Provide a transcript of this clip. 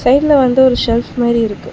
ரைட்ல வந்து ஒரு செல்ஃப் மாரி இருக்கு.